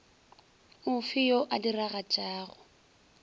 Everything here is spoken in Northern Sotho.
o fe yo a diragatšago